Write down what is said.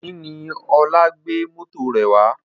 Òní ni Ọlá gbé mọ́tò rẹ̀ wá